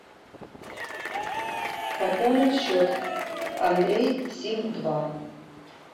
пополнить счет андрей сим два